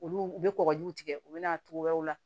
Olu u bɛ kɔkɔ jiw tigɛ u bɛ na togoyaw la